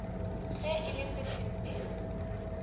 ge e le se sempe